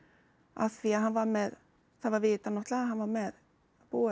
af því að hann var með það var vitað að hann var með búið